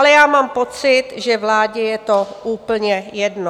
Ale já mám pocit, že vládě je to úplně jedno.